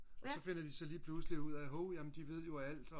og så finder de lige pludselig ud af hov de ved jo alt